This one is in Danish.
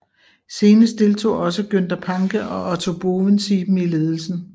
Senere deltog også Günther Pancke og Otto Bovensiepen i ledelsen